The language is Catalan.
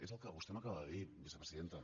és el que vostè m’acaba de dir vicepresidenta